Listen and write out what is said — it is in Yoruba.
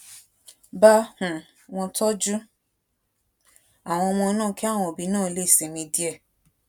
bá um won tójú àwọn ọmọ náà kí àwọn òbí náà lè sinmi díè